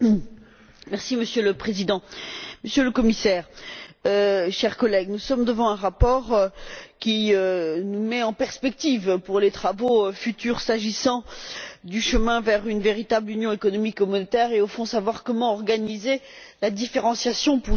Monsieur le Président, Monsieur le Commissaire, chers collègues, nous sommes devant un rapport qui nous met en perspective pour les travaux futurs, s'agissant du chemin vers une véritable union économique et monétaire et, au fond, de savoir comment organiser la différenciation pour y parvenir.